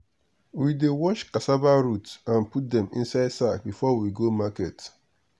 we dey wash cassava root and put dem inside sack before we go market.